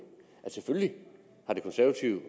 selvfølgelig har det konservative